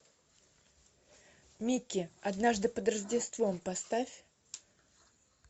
микки однажды под рождество поставь